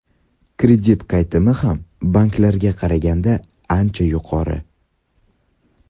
Kredit qaytimi ham banklarga qaraganda ancha yuqori.